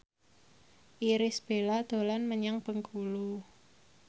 Irish Bella dolan menyang Bengkulu